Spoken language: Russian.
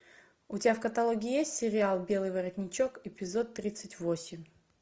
у тебя в каталоге есть сериал белый воротничок эпизод тридцать восемь